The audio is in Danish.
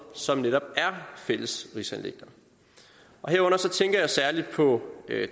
som netop er fælles rigsanliggender herunder tænker jeg særlig på